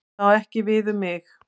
Það á ekki við um mig.